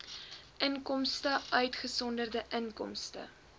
inkomste uitgesonderd inkomste